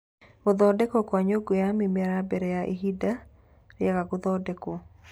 Gũthondekwo kwa Nyũngũ ya Mĩmera Mbere ya Ihinda Rĩaga Gũthondekwo